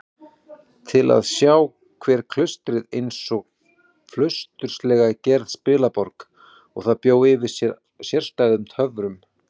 Til að sjá var klaustrið einsog flausturslega gerð spilaborg, en það bjó yfir sérstæðum töfrum.